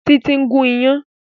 Títí ń gùn iyán